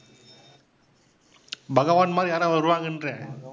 பகவான் மாதிரி யாராவது வருவாங்கன்ற.